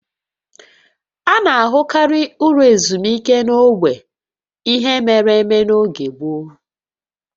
A na-ahụkarị ụlọ ezumike n'ogbe ihe mere eme n'oge gboo